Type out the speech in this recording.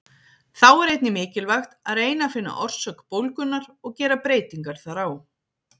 Þá er einnig mikilvægt að reyna að finna orsök bólgunnar og gera breytingar þar á.